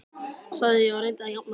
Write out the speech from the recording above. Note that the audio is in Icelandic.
sagði ég og reyndi að jafna mig.